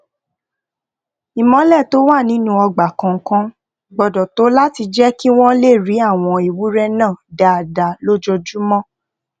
ìmólè tó wà nínú ọgbà kòòkan gbódò tó láti jé kí wón lè rí àwọn ewúré náà dáadáa lójoojúmó